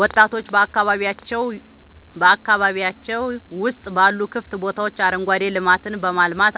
ወጣቶች በአካባቢያቸው ውስጥ ባሉ ክፍት ቦታዎች አረንጓዴ ልማትን በማልማት